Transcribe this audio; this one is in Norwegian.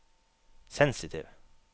sensitiv